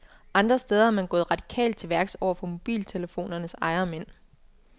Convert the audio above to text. Andre steder er man gået radikalt til værks over for mobiltelefonernes ejermænd.